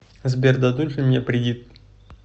сбер дадут ли мне придит